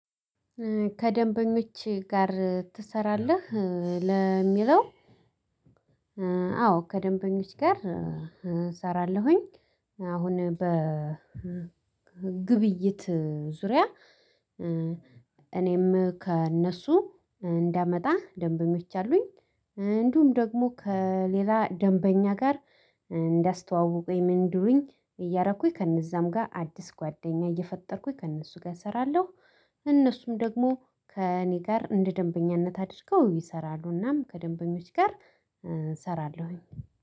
ከደንበኞች ጋር ትሰራለህ ለሚለው? አዎ ከደንበኞች ጋር እሰራለሁኝ አሁን በግብይት ዙሪያ። እኔም ከእነሱ እንዳመጣ ደንበኞች አሉኝ እንዲሁም ደግሞ ከሌላ ደንበኛ ጋር። እንዲያስተዋውቁኝ ምን እንዲልኝ እያረኩኝ ከእነዛም ጋር አዲስ ጓደኛ እየፈጠርኩኝ ከእነሱ ጋር እሰራለሁ። እነሱም ደግሞ ከእኔ ጋር እንደ ደንበኛነት አድርገው ይሰራሉ። እናም ከደንበኞች ጋር እሰራለሁኝ።